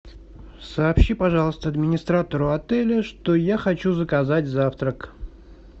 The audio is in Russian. сообщи пожалуйста администратору отеля что я хочу заказать завтрак